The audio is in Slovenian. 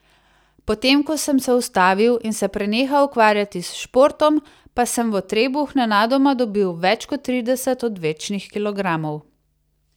Potem ko sem se ustavil in se prenehal ukvarjati s športom, pa sem v trebuh nenadoma dobil več kot trideset odvečnih kilogramov.